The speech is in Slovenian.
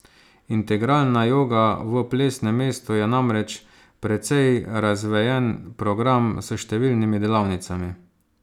Integralna joga v Plesnem mestu je namreč precej razvejen program s številnimi delavnicami.